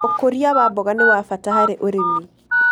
Ũkũria wa mboga nĩ wa bata harĩ ũrĩmi.